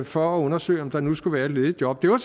for at undersøge om der nu skulle være et ledigt job det var